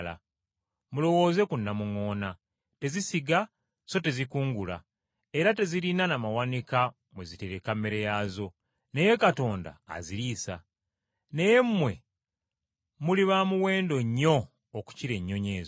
Mulowooze ku namuŋŋoona, tezisiga so tezikungula, era tezirina na mawanika mwe zitereka mmere yaazo, naye Katonda aziriisa. Naye mmwe muli ba muwendo nnyo okukira ennyonyi ezo!